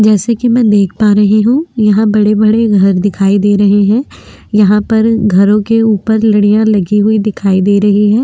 जैसे की में देख पा रही हु यहा बड़े बड़े घर दिखाई दे रहे है यहा पर घरों के ऊपर लड़ियाँ लगी हुई दिखाई दे रही है।